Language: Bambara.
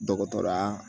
Dɔgɔtɔrɔya